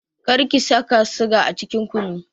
Kar ki saka siga a cikin kunun!